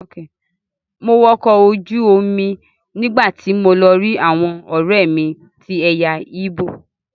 Mo wọ ọkọ̀ ojú omi nígbàtí mo lọ rí àwọn ọ̀rẹ́mi tí ẹ̀yà igbo.